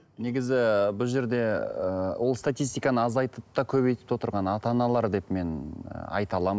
негізі бұл жерде ыыы ол статистиканы азайтып та көбейтіп те отырған ата аналар деп мен ы айта аламын